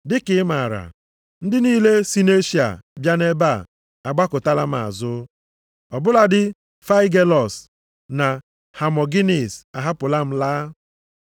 Dị ka i maara, ndị niile si nʼEshịa bịa nʼebe a agbakụtala m azụ. Ọ bụladị Faigelọs na Hamogịnịs ahapụla m laa.